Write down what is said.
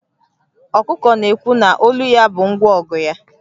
Ọkụkọ na-ekwu na olu ya bụ ngwa ọgụ ya